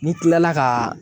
N'i kilala ka